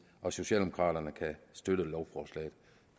og socialdemokraterne kan støtte lovforslaget